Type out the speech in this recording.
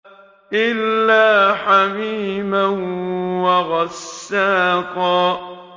إِلَّا حَمِيمًا وَغَسَّاقًا